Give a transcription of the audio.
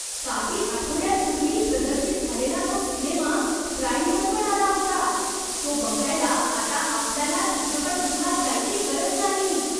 काही आठवड्यांपूर्वी प्रदर्शित झालेला तो सिनेमा प्राईमवर पण आला होता! तो बघायला आता आपल्याला चित्रपटगृहात जायची गरज नाही!